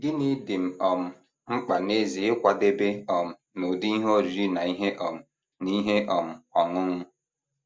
Gịnị dị m um mkpa n’ezie ịkwadebe um n’ụdị ihe oriri na ihe um na ihe um ọṅụṅụ?